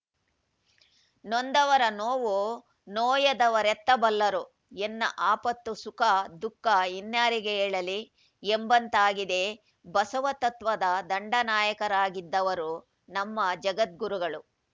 ನೊಂದವರ ನೋವು ನೋಯದವರೆತ್ತ ಬಲ್ಲರು ಎನ್ನ ಆಪತ್ತು ಸುಖ ದುಃಖ ಇನ್ನಾರಿಗೆ ಹೇಳಲಿ ಎಂಬಂತಾಗಿದೆ ಬಸವತತ್ವದ ದಂಡನಾಯಕರಾಗಿದ್ದವರು ನಮ್ಮ ಜಗದ್ಗುರುಗಳು